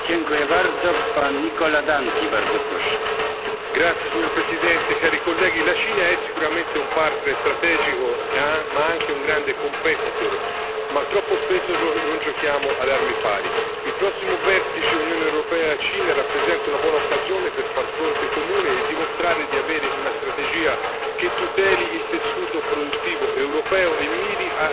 Signor Presidente, onorevoli colleghi, la Cina è sicuramente un partner strategico ma anche un grande ma troppo spesso non giochiamo ad armi pari. Il prossimo vertice Unione europea Cina rappresenta una buona occasione per far fronte comune e dimostrare di avere una strategia che tuteli il tessuto produttivo europeo e miri a più reciprocità nell'accesso ai rispettivi mercati.